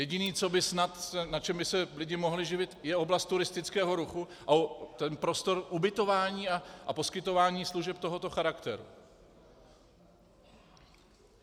Jediné, na čem by se lidi mohli živit, je oblast turistického ruchu a ten prostor ubytování a poskytování služeb tohoto charakteru.